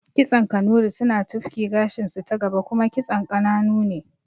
Kitson Kanuri suna tufki gashinsu ta gaba kuma kitson ƙananu ne